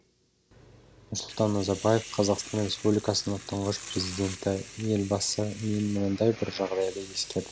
нұрсұлтан назарбаев қазақстан республикасының тұңғыш президенті елбасы мен мынандай бір жағдайды ескердім